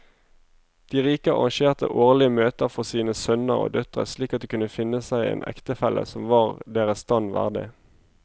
De rike arrangerte årlige møter for sine sønner og døtre slik at de kunne finne seg en ektefelle som var deres stand verdig.